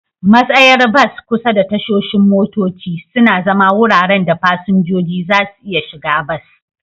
Matsayar bas kusa da tashoshin motoci suna zama wuraren da fasinjoji za su iya shiga bas.